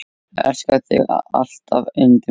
Elska þig alltaf yndið mitt.